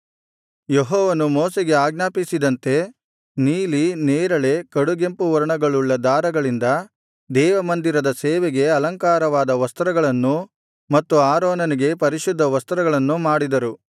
ಯೆಹೋವನು ಮೋಶೆಗೆ ಆಜ್ಞಾಪಿಸಿದಂತೆ ನೀಲಿ ನೇರಳೆ ಕಡುಗೆಂಪು ವರ್ಣಗಳುಳ್ಳ ದಾರಗಳಿಂದ ದೇವಮಂದಿರದ ಸೇವೆಗೆ ಅಲಂಕಾರವಾದ ವಸ್ತ್ರಗಳನ್ನೂ ಮತ್ತು ಆರೋನನಿಗೆ ಪರಿಶುದ್ಧ ವಸ್ತ್ರಗಳನ್ನೂ ಮಾಡಿದರು